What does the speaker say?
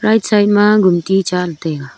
side ma gumti cha taiga.